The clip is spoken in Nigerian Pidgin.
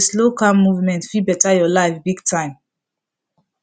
health people dey always talk say slow calm movement fit better your life big time